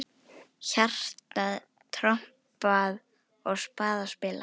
Hjarta trompað og spaða spilað.